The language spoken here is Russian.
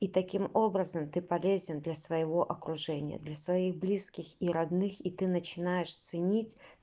и таким образом ты полезен для своего окружения для своих близких и родных и ты начинаешь ценить